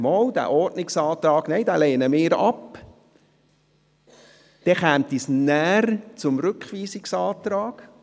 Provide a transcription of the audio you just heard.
Falls Sie den Ordnungsantrag ablehnen, käme es nachher zum Rückweisungsantrag.